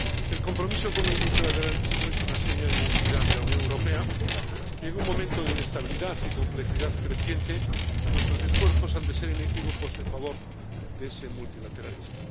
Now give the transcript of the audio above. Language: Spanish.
El compromiso con el multilateralismo es una seña de identidad de la Unión Europea y, en un momento de inestabilidad y complejidad creciente, nuestros esfuerzos han de ser inequívocos en favor de ese multilateralismo.